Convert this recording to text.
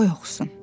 Qoy oxusun.